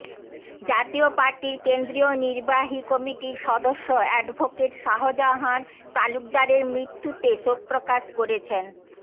জাতীয় পার্টির কেন্দ্রীয় নির্বাহী কমিটির সদস্য অ্যাডভোকেট শাহজাহান তালুকদারের মৃত্যুতে শোকপ্রকাশ করেছেন